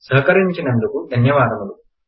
సహకరించినందుకు ధన్యవాదములు